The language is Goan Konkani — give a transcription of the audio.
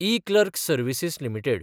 eClerx services limited